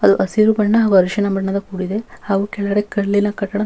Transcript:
ಅದು ಹಸಿರು ಬಣ್ಣ ಹಾಗೂ ಅರಿಶಿನ ಬಣ್ಣದ ಕೂಡಿದೆ ಹಾಗೂ ಕೆಳಗಡೆ ಕಲ್ಲಿನ ಕಟ್ಟಡ--